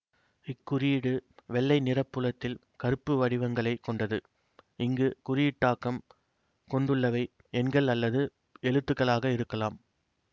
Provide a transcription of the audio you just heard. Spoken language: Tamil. இக்குறியீடு வெள்ளை நிறப்புலத்தில் கருப்பு வடிவங்களை கொண்டது இங்கு குறியீட்டாக்கம் கொண்டுள்ளவை எண்கள் அல்லது எழுத்துகளாக இருக்கலாம்